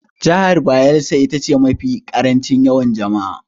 Jihar Bayelsa ita ce mafi ƙarancin yawan jama'a.